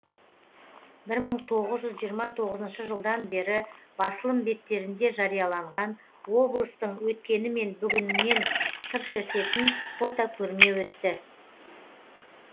бір мың тоғыз жүз жиырма тоғызыншы жылдан бері басылым беттерінде жарияланған облыстың өткені мен бүгіненен сыр шертетін фотокөрме өтті